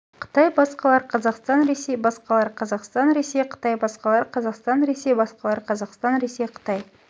қытай басқалар қазақстан ресей басқалар қазақстан ресей қытай басқалар қазақстан ресей басқалар қазақстан ресей қытай